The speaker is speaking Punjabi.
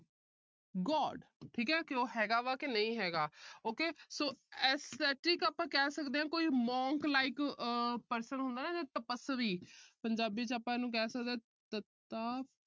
God ਠੀਕ ਹੈ ਵੀ ਉਹ ਹੈਗਾ ਵਾ ਕਿ ਨਹੀਂ ਹੈਗਾ। ok so aesthetic ਆਪਾ ਕਹਿ ਸਕਦੇ ਹਾਂ ਕਿ ਕੋਈ monk like person ਹੁੰਦਾ ਨਾ ਤਪਸਵੀ। ਪੰਜਾਬੀ ਚ ਆਪਾ ਇਹਨੂੰ ਕਹਿ ਸਕਦੇ ਆ ਤਤਾ